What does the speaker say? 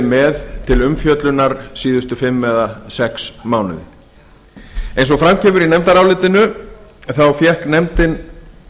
með til umfjöllunar síðustu fimm eða sex mánuði eins og fram kemur í nefndarálitinu þá fékk nefndin